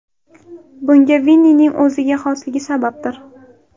Bunga Vinnining o‘ziga xosligi sababdir.